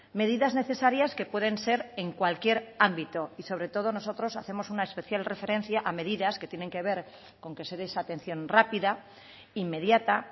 medidas necesarias que pueden ser en cualquier ámbito y sobre todo nosotros hacemos una especial referencia a medidas que tienen que ver con que se de esa atención rápida inmediata